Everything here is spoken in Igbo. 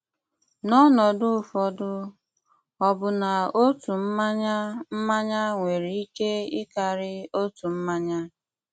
N'ọnọdụ ụfọdụ, ọbụna otu mmanya mmanya nwere ike ịkarị otu mmanya.